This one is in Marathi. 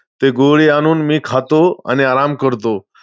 ते गोळी आणून मी खातो आणि आराम करतो.